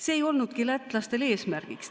See ei olnudki lätlastel eesmärgiks.